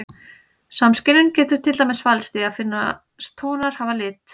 Samskynjun getur til dæmis falist í því að finnast tónar hafa lit.